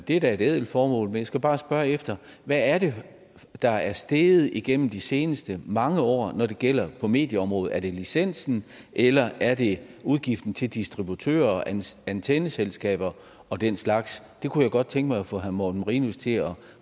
det er da et ædelt formål men jeg skal bare spørge hvad er det der er steget igennem de seneste mange år når det gælder medieområdet er det licensen eller er det udgiften til distributører antenneselskaber og den slags det kunne jeg godt tænke mig at få herre morten marinus til at